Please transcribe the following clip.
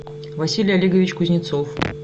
василий олегович кузнецов